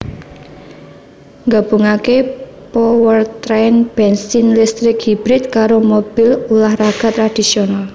nggabungake powertrain bensin listrik hybrid karo mobil ulah raga tradisional